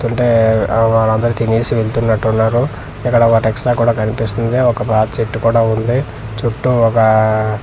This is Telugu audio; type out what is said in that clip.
తుంటే ఆ వాలందరు తినేసి వెళ్తున్నటు ఉన్నారు ఇక్కడ ఒకటి ఎక్స్ట్రా కూడా కనిపిస్తుంది ఒక పాత చేటు కూడా ఉంది చుట్టూ ఒక అఅ.